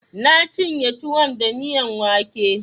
Na cinye tuwon da miyan wake